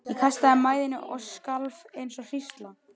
Ég kastaði mæðinni og skalf eins og hrísla.